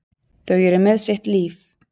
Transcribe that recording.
Þau eru með sitt líf.